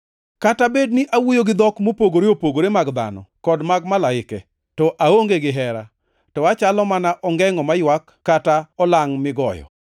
Kata bed ni awuoyo gi dhok mopogore opogore mag dhano kod mag malaike, to aonge gihera, to achalo mana ongengʼo maywak kata olangʼ migoyo.